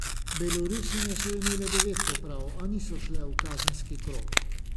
Belorusinje so imele devet poprav, a niso šle v kazenski krog.